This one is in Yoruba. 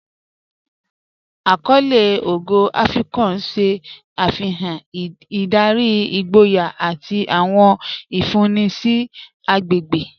Àkọlé Ógò Afíkpò n ṣẹ́ afihàn ìdárí, ìgbòyà, àti àwọn ìfúnńì sí àgbégbe.